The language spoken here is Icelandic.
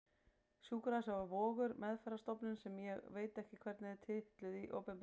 Sjúkrahúsið var Vogur, meðferðarstofnunin sem ég veit ekki hvernig er titluð í opinberum skjölum.